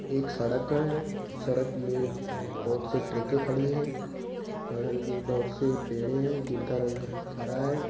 एक सड़क घये है सड़क में बहुत से ट्रेके खड़ी है बगल में बहुत से पेड़े है जिनका रंग हरा है।